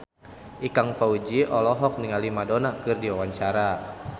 Ikang Fawzi olohok ningali Madonna keur diwawancara